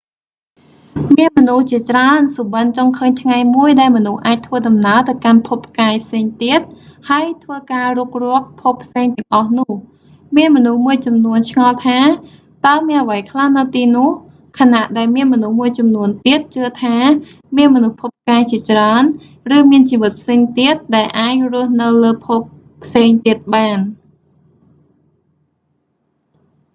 មានមនុស្សជាច្រើនសុបិន្ដចង់ឃើញថ្ងៃមួយដែលមនុស្សអាចធ្វើដំណើរទៅកាន់ភពផ្កាយផ្សេងទៀត ហើយធ្វើការរុករកភពផ្សេងទាំងអស់នោះ មានមនុស្សមួយចំនួនឆ្ងល់ថា តើមានអ្វីខ្លះនៅទីនោះ ខណៈដែលមានមនុស្សមួយចំនួនទៀតជឿថា មានមនុស្សភពផ្កាយជាច្រើន ឬមានជីវិតផ្សេងទៀត ដែលអាចរស់នៅលើភពផ្សេងទៀតបាន